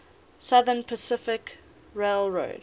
southern pacific railroad